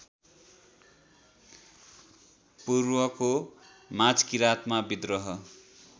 पूर्वको माझकिराँतमा विद्रोह